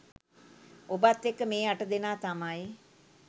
ඔබත් එක්ක මේ අට දෙනා තමයි